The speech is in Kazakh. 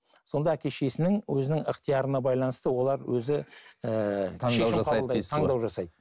сонда әке шешесінің өзінің ықтиярына байланысты олар өзі ііі таңдау жасайды